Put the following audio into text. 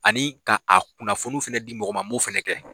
Ani ka a kunnafoni fɛnɛ di mɔgɔ ma n b'o fɛnɛ kɛ.